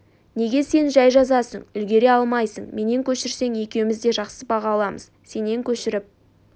неге сен жай жазасың үлгере алмай қаласың менен көшірсең екеуіміз де жақсы баға аламыз сенен көшіріп